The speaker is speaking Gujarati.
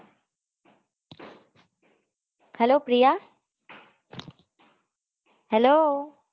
hello Priya hello